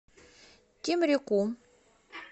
темрюку